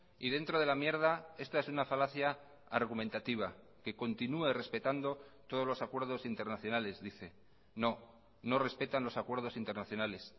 y dentro de la mierda esta es una falacia argumentativa que continua respetando todos los acuerdos internacionales dice no no respetan los acuerdos internacionales